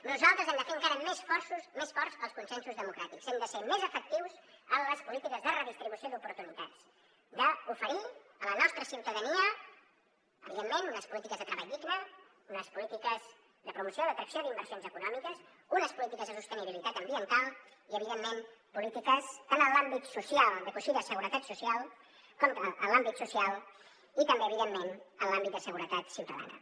nosaltres hem de fer encara més forts els consensos democràtics hem de ser més efectius en les polítiques de redistribució d’oportunitats d’oferir a la nostra ciutadania evidentment unes polítiques de treball digne unes polítiques de promoció d’atracció d’inversions econòmiques unes polítiques de sostenibilitat ambiental i evidentment polítiques tant en l’àmbit social de coixí de seguretat social com en l’àmbit social i també evidentment en l’àmbit de seguretat ciutadana